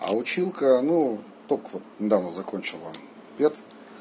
а училка ну только вот недавно закончила пед